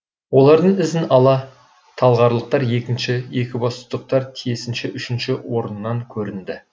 олардың ізін ала талғарлықтар екінші екібастұздықтар тиісінше үшінші орыннан көрінді